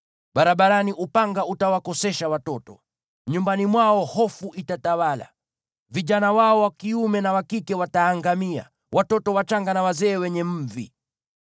Barabarani upanga utawakosesha watoto; nyumbani mwao hofu itatawala. Vijana wao wa kiume na wa kike wataangamia, pia watoto wachanga na wazee wenye mvi.